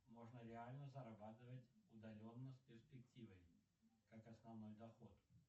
можно реально зарабатывать удаленно с перспективой как основной доход